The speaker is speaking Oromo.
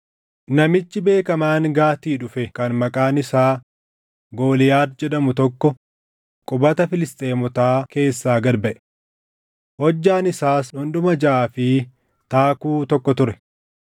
Namichi beekamaan Gaatii dhufe kan maqaan isaa Gooliyaad jedhamu tokko qubata Filisxeemotaa keessaa gad baʼe. Hojjaan isaas dhundhuma jaʼaa fi taakkuu tokko ture.